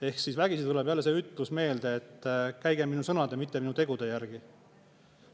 Ehk siis vägisi tuleb jälle see ütlus meelde, et käige minu sõnade, mitte minu tegude järgi.